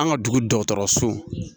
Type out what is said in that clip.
An ka dugu dɔgɔtɔrɔso